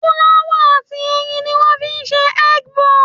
Fúláwà àti ẹyin ni wọ́n fi ń ṣe egg bonze